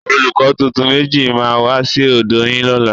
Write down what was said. Olùkọ́ tuntun méjì máa wá sí ọ̀dọ́ yín lọ́la